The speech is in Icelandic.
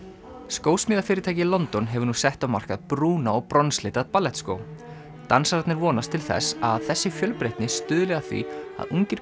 skósmíðafyrirtæki í London hefur nú sett á markað brúna og bronslita ballettskó dansararnir vonast til þess að þessi fjölbreytni stuðli að því að ungir